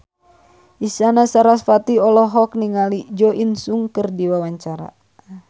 Isyana Sarasvati olohok ningali Jo In Sung keur diwawancara